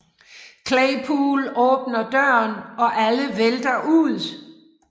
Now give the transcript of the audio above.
Claypool åbner døren og alle vælter ud